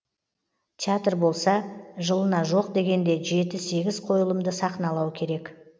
театр болса жылына жоқ дегенде жеті сегіз қойылымды сахналау керек